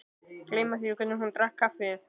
Gleyma því hvernig hún drakk kaffið.